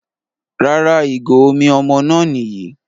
Rárá ìgò omi ọmọ náà Nìyí